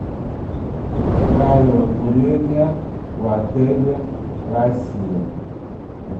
правила курения в отеле россия